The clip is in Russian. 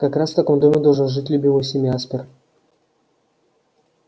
как раз в таком доме должен жить любимый всеми аспер